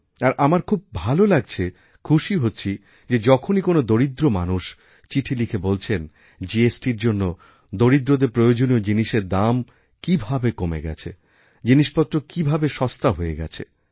আর আমার খুব ভাল লাগছে খুশি হচ্ছি যে যখনই কোনও দরিদ্রমানুষ চিঠি লিখে বলছেন জিএসটি র জন্য দরিদ্রদেরপ্রয়োজনীয় জিনিসের দাম কীভাবে কমে গেছে জিনিসপত্র কীভাবে সস্তা হয়ে গেছে